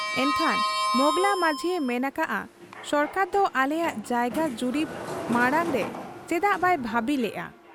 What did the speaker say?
ᱮᱱᱠᱷᱟᱱ ᱢᱚᱸᱜᱽᱞᱟ ᱢᱟᱹᱡᱷᱤᱭᱮ ᱢᱮᱱ ᱟᱠᱟᱜ ᱟ ᱥᱚᱨᱠᱟᱨ ᱫᱚ ᱟᱞᱮᱭᱟᱜ ᱡᱟᱭᱜᱟ ᱡᱩᱨᱤᱯ ᱢᱟᱬᱟᱝᱨᱮ ᱪᱮᱫᱟᱜ ᱵᱟᱭ ᱵᱷᱟᱹᱵᱤ ᱞᱮᱜ ᱟ ᱾